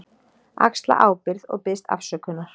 Axla ábyrgð og biðst afsökunar.